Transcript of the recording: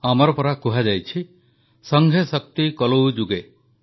ଆମର ପରା କୁହାଯାଇଛି ସଂଘେ ଶକ୍ତି କଲୌ ଯୁଗେ